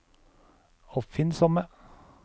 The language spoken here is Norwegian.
oppfinnsomme